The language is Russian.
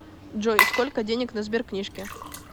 джой сколько денег на сберкнижке